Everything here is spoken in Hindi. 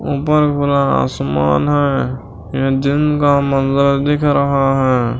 ऊपर पूरा आसमान है ये दिन का मंज़र दिख रहा है।